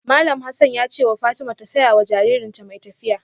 Malam Hassan ya ce wa Fatima ta saya wa jaririnta mai tafiya.